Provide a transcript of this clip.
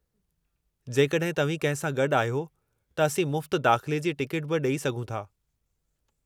जेकॾहिं तव्हीं कंहिं सां गॾु आहियो त असीं मुफ़्त दाख़िले जी टिकट बि ॾेई सघूं था।